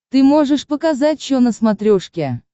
ты можешь показать че на смотрешке